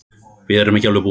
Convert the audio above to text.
Við erum ekki alveg búnir.